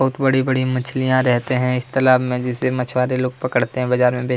बहुत बड़े-बड़े मछलियाँ रहते हैं इस तलाब जिसे मछुवारे लोग पकड़ते हैं बाजार मे बेचते--